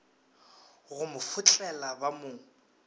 go mo fotlela ba mo